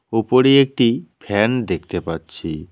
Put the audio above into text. উপরে একটি ফ্যান দেখতে পাচ্ছি।